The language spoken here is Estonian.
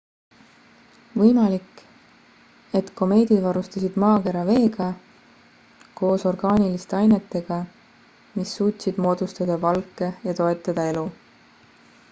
võimalik et komeedid varustasid maakera veega koos orgaaniliste ainetega mis suutsid moodustada valke ja toetada elu